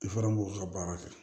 I fana b'o ka baara kɛ